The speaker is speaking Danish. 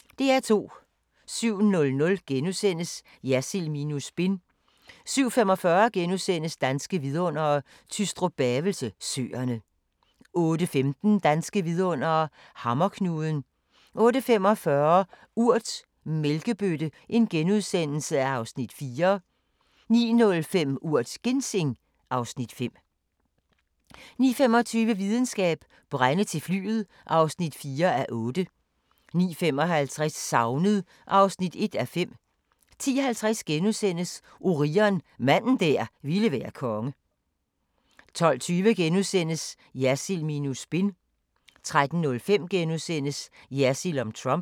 07:00: Jersild minus spin * 07:45: Danske Vidundere: Tystrup-Bavelse Søerne * 08:15: Danske vidundere: Hammerknuden 08:45: Urt: Mælkebøtte (Afs. 4)* 09:05: Urt: Ginseng (Afs. 5) 09:25: Videnskab: Brænde til flyet (4:8) 09:55: Savnet (1:5) 10:50: Orion – manden der ville være konge * 12:20: Jersild minus spin * 13:05: Jersild om Trump *